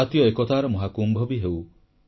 ଜାତୀୟ ଏକତାର ମହାକୁମ୍ଭ ବି ହେଉ